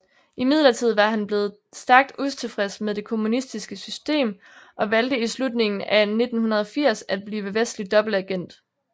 Imidlertid var han blevet stærkt utilfreds med det kommunistiske system og valgte i slutningen af 1980 at blive vestlig dobbeltagent